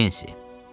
Pensi.